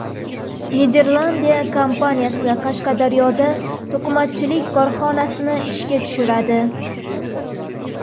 Niderlandiya kompaniyasi Qashqadaryoda to‘qimachilik korxonasini ishga tushiradi.